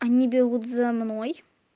они бегут за мной